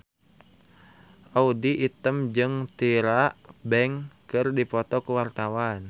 Audy Item jeung Tyra Banks keur dipoto ku wartawan